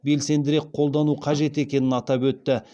белсендірек қолдану қажет екенін атап өтті